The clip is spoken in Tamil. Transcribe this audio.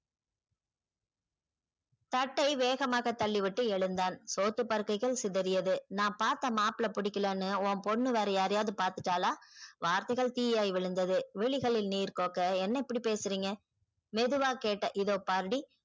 சட்டை வேகமாக தள்ளிவிட்டு எழுந்தான் சொத்து பர்கைகள் சிதறியது நான் பார்த்த மாப்பிள்ளை பிடிக்கலன்னு ஒ பொண்ணு யாராயாவது பாத்துட்டல்லா வார்த்தைகள் தீயாய் விழுந்தது விழிகளில் நீர் கொக்க என்ன இப்டி பேசுறிங்க மெதுவா கேட்ட இதோ பாருடி